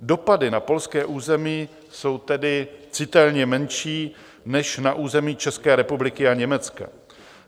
Dopady na polské území jsou tedy citelně menší než na území České republiky a Německa.